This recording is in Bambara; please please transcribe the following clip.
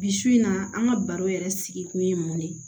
Bi su in na an ka baro yɛrɛ sigi kun ye mun de ye